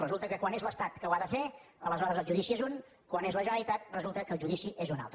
resulta que quan és l’estat que ho ha de fer aleshores el judici és un quan és la generalitat resulta que el judici és un altre